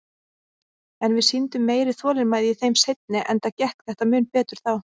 En við sýndum meiri þolinmæði í þeim seinni, enda gekk þetta mun betur þá.